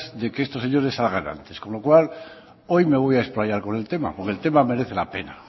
de que estos señores salgan antes con lo cual hoy me voy a explayar porque el tema merece la pena